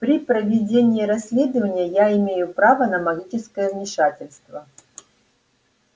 при проведении расследования я имею право на магическое вмешательство